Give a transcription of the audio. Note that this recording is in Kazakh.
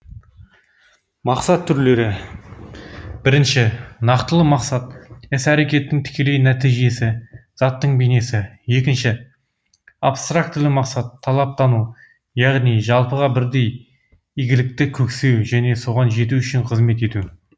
мақсат түрлері бірінші нақтылы мақсат іс әрекеттің тікелей нәтижесі заттың бейнесі екінші абстрактілі мақсат талаптану яғни жалпыға бірдей игілікті көксеу және соған жету үшін қызмет ету